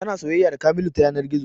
Tana soyayya da kamilu ta yanar gizo